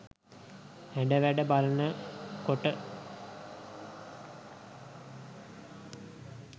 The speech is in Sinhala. හැඩවැඩ බලන කොට